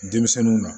Denmisɛnninw na